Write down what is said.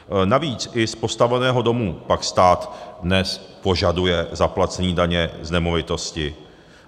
Navíc i z postaveného domu pak stát dnes požaduje zaplacení daně z nemovitostí.